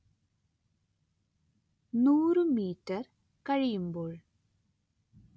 നൂറ് മീറ്റർ കഴിയുമ്പോൾ